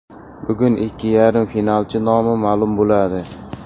Bugun ikki yarim finalchi nomi ma’lum bo‘ladi.